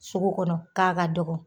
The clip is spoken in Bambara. Sugu kɔnɔ k'a ka dɔgɔn